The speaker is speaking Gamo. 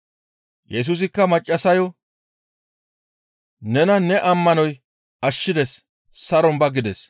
Yesusikka maccassayo, «Nena ne ammanoy ashshides; saron ba!» gides.